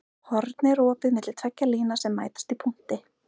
Horn er opið milli tveggja lína sem mætast í punkti.